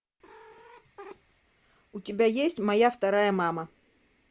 у тебя есть моя вторая мама